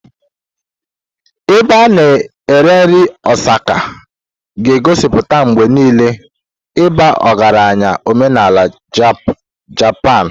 Ebe a na-eri nri Osaka ga-egosipụta mgbe niile ịba ọgaranya omenala Japanu.